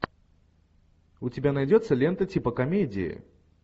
у тебя найдется лента типа комедии